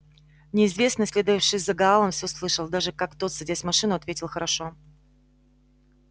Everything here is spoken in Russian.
неизвестный следовавший за гаалом всё слышал даже как тот садясь в машину ответил хорошо